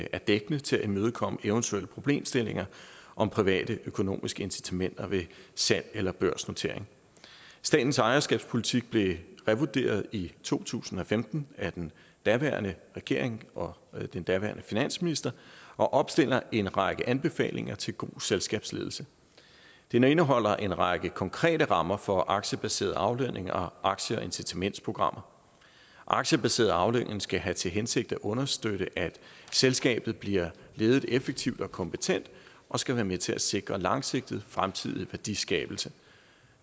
er dækkende til at imødekomme eventuelle problemstillinger om privatøkonomiske incitamenter ved salg eller børsnotering statens ejerskabspolitik blev revurderet i to tusind og femten af den daværende regering og den daværende finansminister og opstiller en række anbefalinger til god selskabsledelse den indeholder en række konkrete rammer for aktiebaseret aflønning og aktie og incitamentsprogrammer aktiebaseret aflønning skal have til hensigt at understøtte at selskabet bliver ledet effektivt og kompetent og skal være med til at sikre langsigtet fremtidig værdiskabelse